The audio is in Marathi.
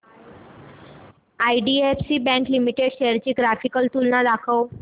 आयडीएफसी बँक लिमिटेड शेअर्स ची ग्राफिकल तुलना दाखव